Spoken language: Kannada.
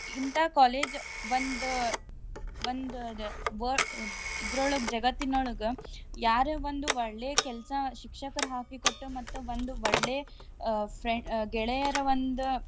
ಇಂತಾ college ಒಂದ್ ಒಂದಾದ ವ~ ಇದ್ರೋಳ್ಗ ಜಗತ್ತಿನೊಳ್ಗ ಯಾರೇ ಒಂದು ಒಳ್ಳೇ ಕೆಲ್ಸಾ ಶಿಕ್ಷಕರ್ ಹಾಕಿ ಕೊಟ್ಟ ಮತ್ತ್ ಒಂದು ಒಳ್ಳೇ ಅ ಫ್ರ್~ ಗೆಳೆಯರ ಒಂದ್.